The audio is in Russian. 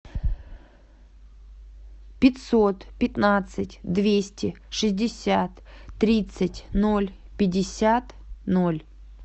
пятьсот пятнадцать двести шестьдесят тридцать ноль пятьдесят ноль